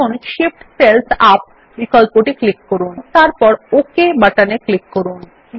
এখন Shift cells up বিকল্পটি click করুন এবং তারপর ওক বাটনে ক্লিক করুন